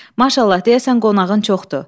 Maşallah, deyəsən qonağın çoxdur.